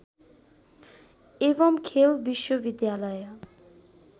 एवम् खेल विश्वविद्यालय